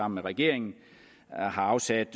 med regeringen har afsat